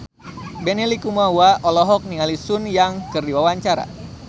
Benny Likumahua olohok ningali Sun Yang keur diwawancara